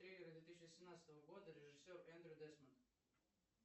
триллеры две тысячи восемнадцатого года режиссер эндрю десмонд